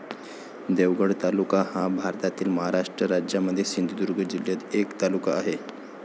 देवगड तालुका हा भारतातील महाराष्ट्र राज्यामध्ये सिंधुदुर्ग जिल्ह्यातील एक तालुका आहे.